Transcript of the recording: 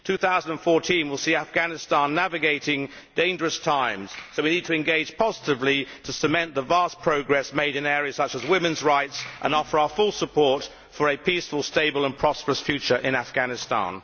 2014 will see Afghanistan navigating dangerous times, so we need to engage positively to cement the vast progress made in areas such as women's rights and offer our full support for a peaceful, stable and prosperous future in Afghanistan.